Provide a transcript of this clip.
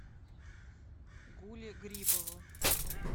гуле грибову